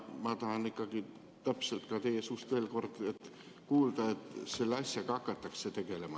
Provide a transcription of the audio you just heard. Ma tahan ikkagi teie suust veel kord täpselt kuulda, et selle asjaga hakatakse tegelema.